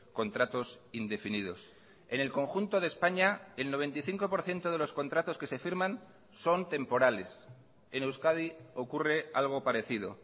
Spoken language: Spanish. contratos indefinidos en el conjunto de españa el noventa y cinco por ciento de los contratos que se firman son temporales en euskadi ocurre algo parecido